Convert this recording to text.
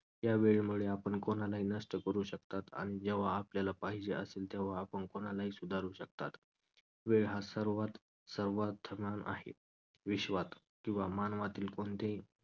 या वेळेमुळे आपण कोणालाही नष्ट करू शकतात आणि जेव्हा आपल्याला पाहिजे असेल तेव्हा आपण कोणालाही सुधारू शकतात. वेळ हा सर्वात आहे. विश्वात किंवा मानवातील कोणतेही